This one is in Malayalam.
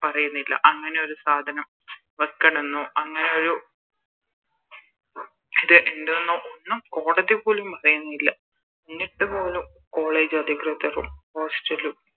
പറയുന്നില്ല അങ്ങനെയൊരു സാധനം വെക്കാണെന്നോ അങ്ങനെ ഒരു ഇത് ഇണ്ട്ന്നോ ഒന്നും കോടതി പോലും പറയുന്നില്ല എന്നിട്ടുപോലും College അധികൃതരും Hostel ലും